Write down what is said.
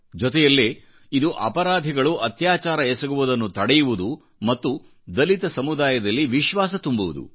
ಜೊತೆಯಲ್ಲೇ ಇದುಅಪರಾಧಿಗಳು ಅತ್ಯಾಚಾರ ಎಸಗುವುದನ್ನು ತಡೆಯುವುದು ಮತ್ತು ದಲಿತ ಸಮುದಾಯದಲ್ಲಿ ವಿಶ್ವಾಸವನ್ನು ತುಂಬುವುದು